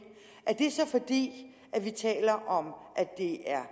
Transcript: er det så fordi vi taler om at det er